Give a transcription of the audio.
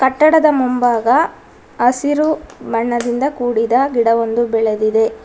ಕಟ್ಟಡದ ಮುಂಭಾಗ ಹಸಿರು ಬಣ್ಣದಿಂದ ಕುಡಿದ ಗಿಡವೊಂದು ಬೆಳದಿದೆ.